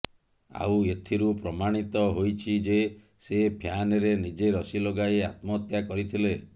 ଆଉ ଏଥିରୁ ପ୍ରମାଣିତ ହୋଇଛି ଯେ ସେ ଫ୍ୟାନ୍ରେ ନିଜେ ରଶି ଲଗାଇ ଆତ୍ମହତ୍ୟା କରିଥିଲେ